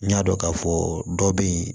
N y'a dɔn k'a fɔ dɔ be yen